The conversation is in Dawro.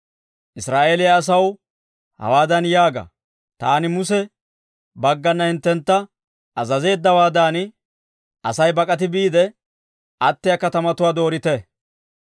«Israa'eeliyaa asaw hawaadan yaaga; ‹Taani Muse baggana hinttentta azazeeddawaadan, Asay bak'ati biide attiyaa katamatuwaa doorite.